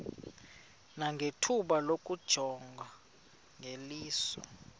nangethuba lokuyijonga ngeliso